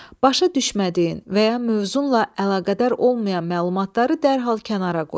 Başa düşmədiyin və ya mövzunla əlaqədar olmayan məlumatları dərhal kənara qoy.